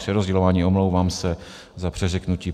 Přerozdělování, omlouvám se za přeřeknutí.